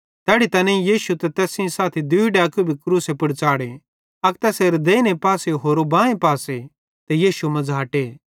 तैड़ी तैनेईं यीशु ते तैस सेइं साथी दूई डैकू भी क्रूसे पुड़ च़ाढ़ो अक तैसेरे देइने पासे होरो बांए पासे ते यीशु मझ़ाटे